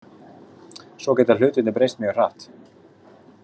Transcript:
Svo geta hlutirnir breyst mjög hratt.